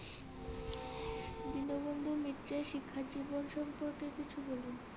দীনবন্ধু মিত্রের শিক্ষা জীবন সম্পর্কে কিছু বলুন